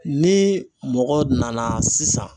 Ni mɔgɔ nana sisan